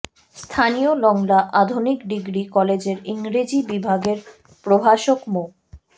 স্থানীয় লংলা আধুনিক ডিগ্রি কলেজের ইংরেজি বিভাগের প্রভাষক মো